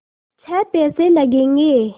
छः पैसे लगेंगे